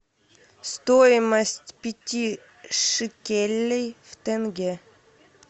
стоимость пяти шекелей в тенге